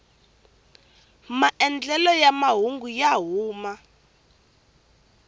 maandlelelo ya mahungu ya huma